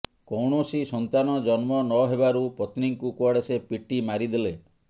କୌଣସି ସନ୍ତାନ ଜନ୍ମ ନ ଦେବାରୁ ପତ୍ନୀଙ୍କୁ କୁଆଡେ ସେ ପିଟି ମାରିଦେଲେ